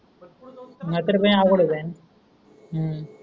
नाहीतर लय अवघड हो जाईन. हम्म